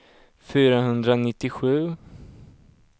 fyrahundranittiosju